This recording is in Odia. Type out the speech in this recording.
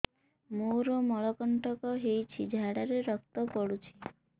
ମୋରୋ ମଳକଣ୍ଟକ ହେଇଚି ଝାଡ଼ାରେ ରକ୍ତ ପଡୁଛି